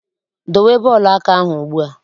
Dowe bọọlụ aka ahụ ugbu a!